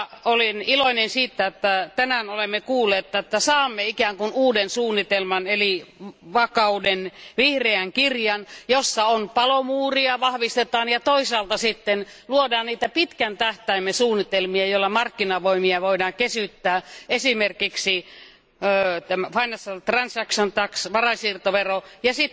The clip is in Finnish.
Olen iloinen siitä, että tänään olemme kuulleet, että saamme ikään kuin uuden suunnitelman eli vakauden Vihreän kirjan, jossa palomuuria vahvistetaan ja toisaalta luodaan pitkän tähtäimen suunnitelmia, joilla markkinavoimia voidaan kesyttää, esimerkiksi Financial Transaction Tax varainsiirtovero ja